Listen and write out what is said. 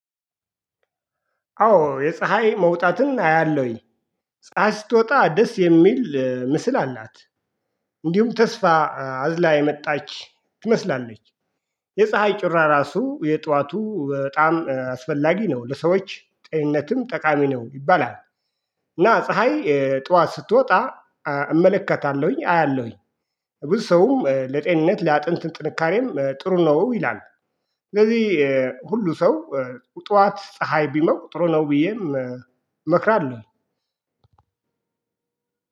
አዎ የፀሀይ መውጣትን አያለሁኝ ፀሀይ ስትወጣ ደስ የሚል ምስል አላት። እንዲሁም ተስፋ አዝላ የመጣች ትመስላለች። የፀሀይ ጩራ ራሱ የጧቱ በጣም አስፈላጊ ነው ለሰዎች ጤንነትም ጠቃሚ ነው ይባላል። እና ፀሀይ ጠዋት ስትወጣ እመለከታለሁኝ አያለሁኝ ብዙ ሰውም ለጤንነት ለአጥንት ጥንካሬም ጥሩ ነው ይላል። ስለዚህ ሁሉ ሰው ጠዋት ፀሀይ ቢሞቅ ጥሩ ለው ብዬ እመክራለሁ።